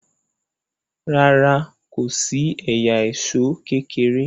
ràrá kòsí ẹyà Èṣó kékeré.